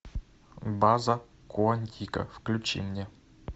база куантико включи мне